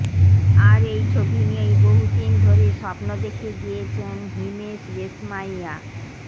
আর এই ছবিনিয়েই বহুদিন ধরে স্বপ্ন দেখে গিয়েছেন হিমেশ রেশমাইয়া